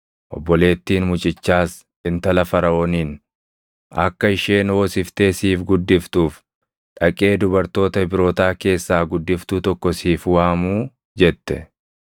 Obboleettiin mucichaas intala Faraʼooniin, “Akka isheen hoosiftee siif guddiftuuf dhaqee dubartoota Ibrootaa keessaa guddiftuu tokko siif waamuu?” jette.